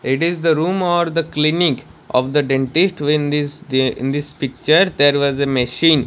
it is the room or the clinic of the dentist when this the in this picture there was a machine.